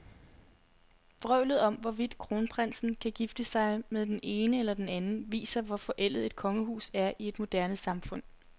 Vrøvlet om, hvorvidt kronprinsen kan gifte sig med den ene eller den anden, viser, hvor forældet et kongehus er i et moderne samfund.